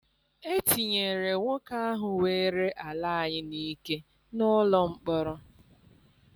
Etinyere nwoke ahụ weere ala anyị n'ike n'ụlọ mkpọrọ.